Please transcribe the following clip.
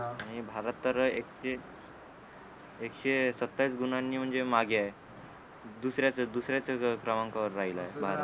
आणि भारत तर एकशे एकशे सत्तावीस गुणांनी म्हणजे मागे आहे दुसऱ्याच दुसऱ्याच क्रमांकावर राहीला आहे भारत